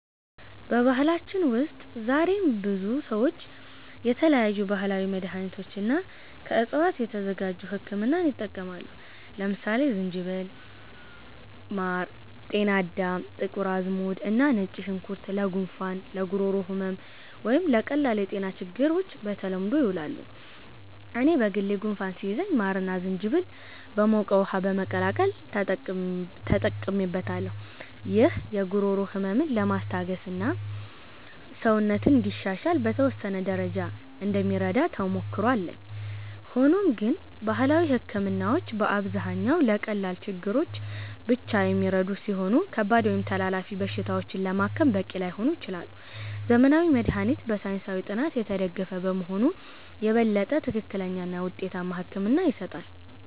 በባህላችን ውስጥ ዛሬም ብዙ ሰዎች የተለያዩ ባህላዊ መድሃኒቶችንና ከዕፅዋት የተዘጋጁ ህክምናዎችን ይጠቀማሉ። ለምሳሌ ዝንጅብል፣ ማር፣ ጤናዳም፣ ጥቁር አዝሙድ እና ነጭ ሽንኩርት ለጉንፋን፣ ለጉሮሮ ህመም ወይም ለቀላል የጤና ችግሮች በተለምዶ ይውላሉ። እኔም በግል ጉንፋን ሲይዘኝ ማርና ዝንጅብል በሞቀ ውሃ በመቀላቀል ተጠቅሜበታለሁ። ይህ የጉሮሮ ህመምን ለማስታገስና ሰውነትን እንዲሻሻል በተወሰነ ደረጃ እንደሚረዳ ተሞክሮ አለኝ። ሆኖም ግን ባህላዊ ህክምናዎች በአብዛኛው ለቀላል ችግሮች ብቻ የሚረዱ ሲሆኑ፣ ከባድ ወይም ተላላፊ በሽታዎችን ለማከም በቂ ላይሆኑ ይችላሉ። ዘመናዊ መድሃኒት በሳይንሳዊ ጥናት የተደገፈ በመሆኑ የበለጠ ትክክለኛና ውጤታማ ሕክምና ይሰጣል።